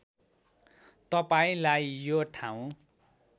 तपाईँलाई यो ठाउँ